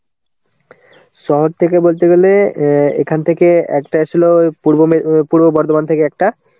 শহর থেকে বলতে গেলে অ্যাঁ এখান থেকে একটা ছিল অ্যাঁ পূর্ব মে~ পূর্ব বর্ধমান থেকে একটা.